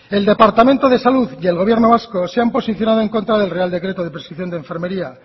el departamento de salud y el gobierno vasco se han posicionado en contra del real decreto de prescripción de enfermería